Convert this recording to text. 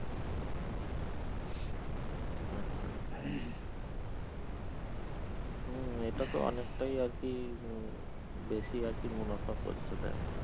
আচ্ছা হুম এ পাশে অনেকটাই আরকি উম বেশি আরকি মুনাফা করছে bank